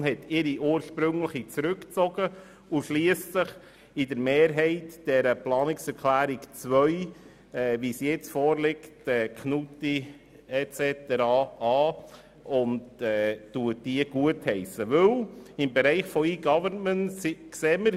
Die FiKo hat ihre ursprüngliche Planungserklärung zurückgezogen und mehrheitlich der Planungserklärung 2 in der vorliegenden Form zugestimmt.